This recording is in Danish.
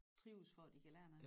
Trives for at de kan lære noget